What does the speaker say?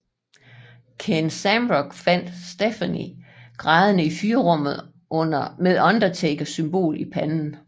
Ken Shamrock fandt Stephanie grædende i fyrrummet med Undertaker symbol i panden